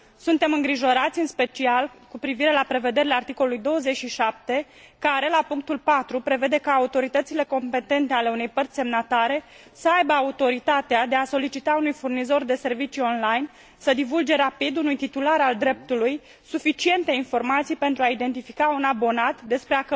Suntem îngrijorați, în special, cu privire la prevederile articolului 27, care, la punctul 4, prevede ca autoritățile competente ale unei părți semnatare să aibă autoritatea de a solicita unui furnizor de servicii online să divulge rapid unui titular al dreptului suficiente informații pentru a identifica un abonat despre